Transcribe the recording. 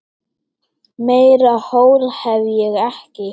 Meira hól hef ég ekki.